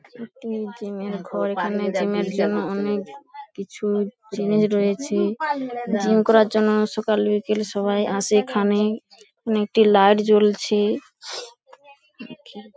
একটি জিম -এর ঘর এখানে জিম -এর জন্য অনেক কিছু জিনিস রয়েছে। জিম করার জন্য সকাল বিকেল সবাই আসে এখানে নে একটি লাইট জ্বলছে ।